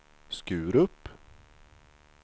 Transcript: Skurup